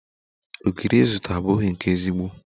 Ogiri izụta abụghi nke ezigbo